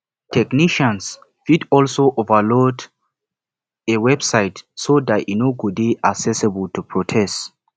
technician fit also overload a website so that e no go de accessible to protest